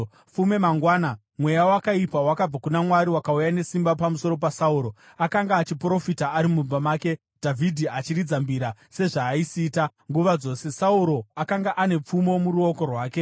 Fume mangwana, mweya wakaipa wakabva kuna Mwari wakauya nesimba pamusoro paSauro. Akanga achiprofita ari mumba make, Dhavhidhi achiridza mbira, sezvaaisiita nguva dzose. Sauro akanga ane pfumo muruoko rwake,